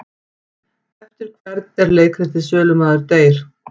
Eftir hvern er leikritið Sölumaður deyr?